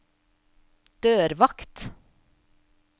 dørvakt